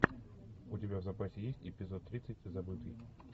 у тебя в запасе есть эпизод тридцать забытый